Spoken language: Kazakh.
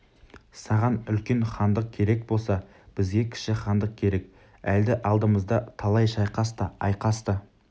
саған үлкен хандық керек болса бізге кіші хандық керек әлі алдымызда талай шайқас та айқас та